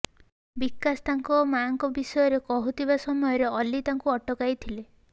ବିକାଶ ତାଙ୍କ ମାଙ୍କ ବିଷୟରେ କହୁଥିବା ସମୟରେ ଅଲ୍ଲୀ ତାଙ୍କୁ ଅଟକାଇଥିଲେ